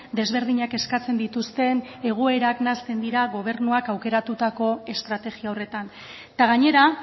desberdinak eskatzen dituzten egoerak nahasten dira gobernuak aukeratutako estrategia horretan eta gainera